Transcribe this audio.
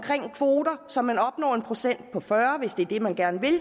kvoter så man opnår en procent på fyrre hvis det er det man gerne vil